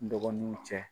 N dɔgɔninw cɛ